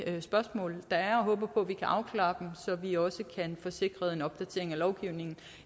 spørgsmål der er og håber på at vi kan afklare dem så vi også kan få sikret en opdatering af lovgivningen